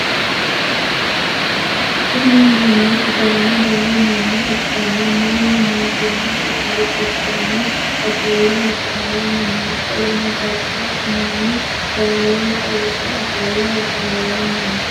Kunni manni sidaamu daga manna ikanna Manu mootimmate hari gidonni afole hasaawanni no. Qoleno jajabu manni gaawensa wodhe ofole hasaawanni no.